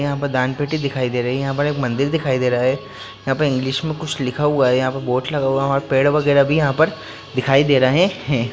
यहां पर दान पेटी दिखाई दे रही है यहां पर एक मंदिर दिखाई दे रहा है यहां पर इंग्लिश में कुछ लिखा हुआ है यहां पर बोर्ड्स लगा हुआ पेड़ वगैरा भी यहां पर है ।